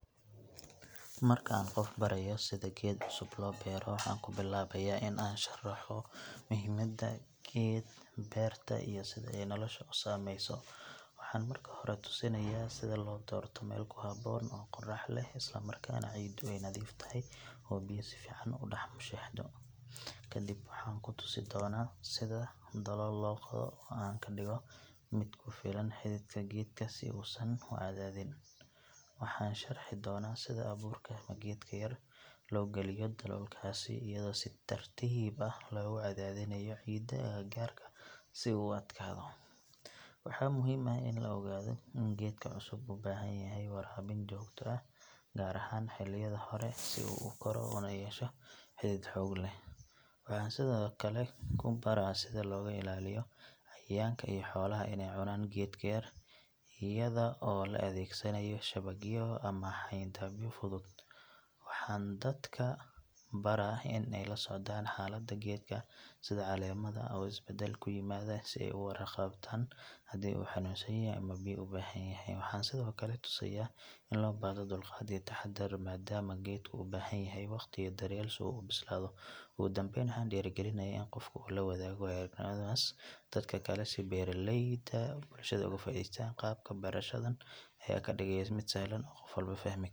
Markaan qof barayo sida geed cusub loo beero, waxaan ku bilaabayaa in aan sharaxo muhiimadda geed beerta iyo sida ay nolosha u saamayso. Waxaan marka hore tusayaa sida loo doorto meel ku habboon oo qorrax leh isla markaana ciiddu ay nadiif tahay oo biyo si fiican u dhex mushaaxdo. Kadib waxaan ku tusi doonaa sida dalool loo qodo oo aan ka dhigo mid ku filan xididka geedka si uusan u cadaadin. Waxaan sharixi doonaa sida abuurka ama geedka yar loo geliyo daloolkaas iyadoo si tartiib ah loogu cadaadinayo ciidda agagaarka si uu u adkaado. Waxaa muhiim ah in la ogaado in geedka cusub u baahan yahay waraabin joogto ah gaar ahaan xilliyada hore si uu u koro una yeesho xidid xoog leh. Waxaan sidoo kale ku baraa sida looga ilaaliyo cayayaanka iyo xoolaha inay cunaan geedka yar iyada oo la adeegsanayo shabagyo ama xayndaabyo fudud. Waxaan dadka baraa in ay la socdaan xaaladda geedka sida caleemaha oo isbedel ku yimaada si ay uga warqabtaan haddii uu xanuunsan yahay ama biyo u baahan yahay. Waxaan sidoo kale tusayaa in loo baahdo dulqaad iyo taxaddar maadaama geedku u baahan yahay waqti iyo daryeel si uu u bislaado. Ugu dambeyn waxaan dhiirrigelinayaa in qofka uu la wadaago waayo-aragnimadiisa dadka kale si beeraleyda bulshadu uga faa’iidaystaan. Qaabka barashadan ayaa ka dhigaya mid sahlan oo qof walba fahmi karo .